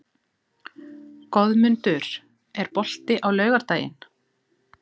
Goðmundur, er bolti á laugardaginn?